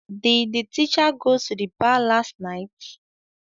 Did the teacher go to the bar last night